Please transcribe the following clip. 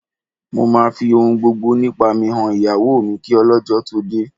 Mo máa fi ohun gbogbo nípa mi han ìyàwó mi kí ọlọ́jọ́ tó dé